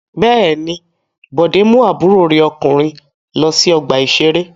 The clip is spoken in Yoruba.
Bẹ́ẹ̀ ni, Bọ̀dé mú àbúrò rẹ̀ ọkùnrin lọ sí ọgbà-ìṣeré.